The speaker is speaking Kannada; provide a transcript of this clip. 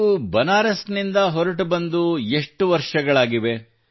ನೀವು ಬನಾರಸ್ ನಿಂದ ಹೊರಟುಬಂದು ಎಷ್ಟು ವರ್ಷಗಳಾಗಿವೆ